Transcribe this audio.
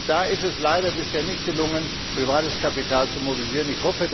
Da ist es leider bisher nicht gelungen, privates Kapital zu mobilisieren.